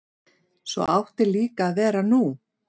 Svo átti líka að vera nú.